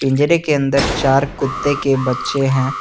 जेडे के अंदर चार कुत्ते के बच्चे हैं।